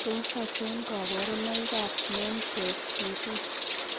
Tos achon kabarunaik ab Menkes disease ?